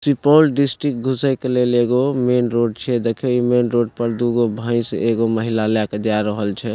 Supaul district घुसे के लेल एगो मैंन रोड छीये देखह इ मैंन रोड पर दु गो भैंस एगो महिला ले के जाय रहल छै।